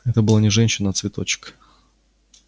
это была не женщина а цветочек